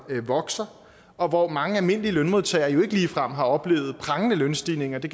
vokser og hvor mange almindelige lønmodtagere jo ikke ligefrem har oplevet prangende lønstigninger det